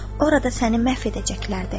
Orada səni məhv edəcəkdilər də.